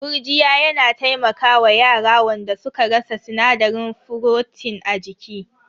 Gurjiya yana taimaka wa yara wanda suka rasa sinadarin furotin a jiki.